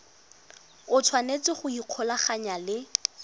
o tshwanetse go ikgolaganya le